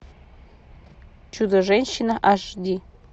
чудо женщина аш ди